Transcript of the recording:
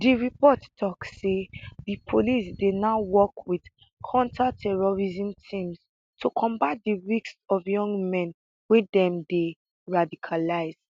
di report tok say di police dey now work wit counterterrorism teams to combat di risks of young men wey dem dey radicalise